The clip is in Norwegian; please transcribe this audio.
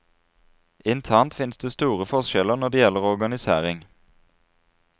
Internt finnes det store forskjeller når det gjelder organisering.